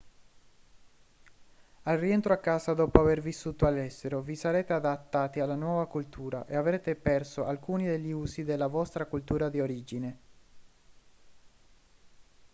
al rientro a casa dopo aver vissuto all'estero vi sarete adattati alla nuova cultura e avrete perso alcuni degli usi della vostra cultura di origine